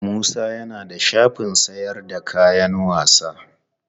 Musa ya na da shafin sayar da kayan sawa.